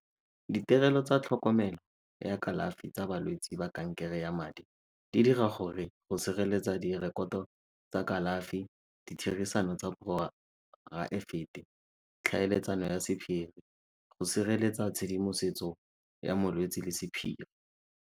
Ditirelo tsa tlhokomelo ya kalafi tsa balwetsi ba kankere ya madi di dira gore go sireletsa direkoto tsa kalafi, ditherisano tsa poraefete, tlhaeletsano ya sephiri, go sireletsa tshedimosetso ya molwetsi le sephiri.